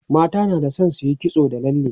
mata na da San suyi kitso da lalle